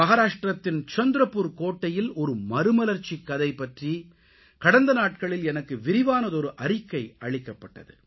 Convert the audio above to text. மகாராஷ்ட்ரத்தின் சந்த்ரபுர் கோட்டையில் ஒரு மறுமலர்ச்சிக் கதை பற்றி கடந்த நாட்களில் எனக்கு விரிவான அறிக்கை அளிக்கப்பட்டது